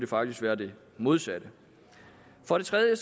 faktisk være det modsatte for det tredje